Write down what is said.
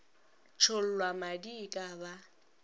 tšhollwa madi e ka ba